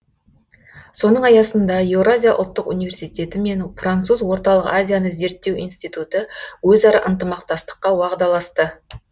соның аясында еуразия ұлттық университеті мен француз орталық азияны зерттеу институты өзара ынтымақтастыққа уағдаласты